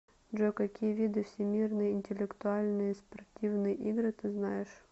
джой какие виды всемирные интеллектуальные спортивные игры ты знаешь